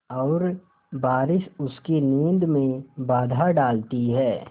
और बारिश उसकी नींद में बाधा डालती है